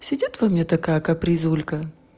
сидит во мне такая капризулька